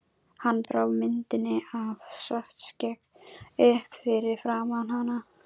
Hann brá myndinni af Svartskegg upp fyrir framan hana.